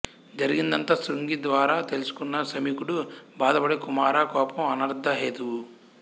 జరిగినదంతా శృంగి ద్వారా తెలుసుకున్న శమీకుడు బాధపడి కుమారా కోపం అనర్ధ హేతువు